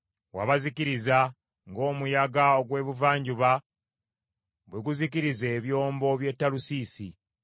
Wabazikiriza ng’omuyaga ogw’ebuvanjuba bwe guzikiriza ebyombo by’e Talusiisi.